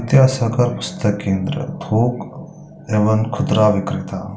विद्यासागर पुस्तक केन्द्र थोक एवं खुदरा बिक्रेता--